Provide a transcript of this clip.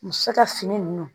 Muso ka fini nunnu